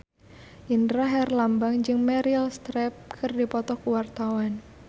Indra Herlambang jeung Meryl Streep keur dipoto ku wartawan